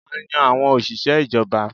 A yan àwọn òṣìṣẹ́ ìjọba